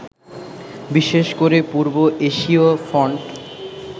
বিশেষ করে পূর্ব এশীয় ফন্ট